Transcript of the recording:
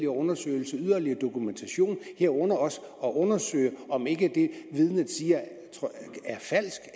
undersøgelser yderligere dokumentation herunder også at undersøge om det vidnet siger er falsk